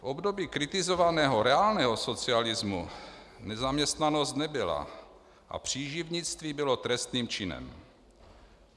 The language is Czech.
V období kritizovaného reálného socialismu nezaměstnanost nebyla a příživnictví bylo trestným činem.